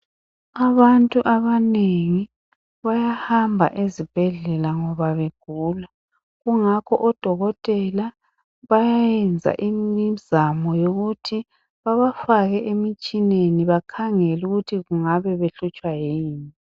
Abantu abanengi bayahamba ezibhedlela ngoba begula kungakho odokotela bayayenza imizamo yokuthi babafake emitshineni bakhangele ukuthi kungabe behlutshwa yini.